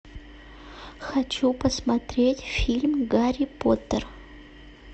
хочу посмотреть фильм гарри поттер